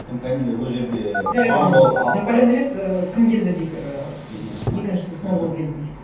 наполеон емес і кім келді дейік ы екіншісі ме екіншісі сноуболл келді дейік